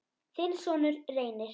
Þinn sonur, Reynir.